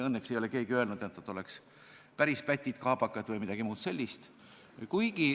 Õnneks ei ole keegi öelnud, et nad on päris pätid ja kaabakad või midagi muud sellist.